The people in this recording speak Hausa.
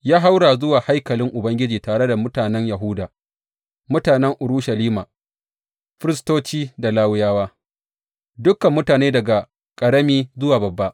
Ya haura zuwa haikalin Ubangiji tare da mutanen Yahuda, mutanen Urushalima, firistoci da Lawiyawa, dukan mutane daga ƙarami zuwa babba.